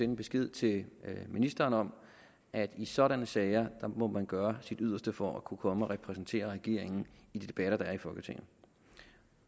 en besked til ministeren om at i sådanne sager må man gøre sit yderste for at kunne komme og repræsentere regeringen i de debatter der er i folketinget